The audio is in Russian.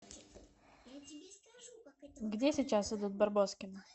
где сейчас идут барбоскины